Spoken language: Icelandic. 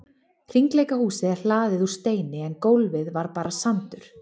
Hringleikahúsið er hlaðið úr steini en gólfið var bara sandur.